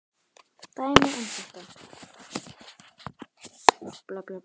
Dæmi um þetta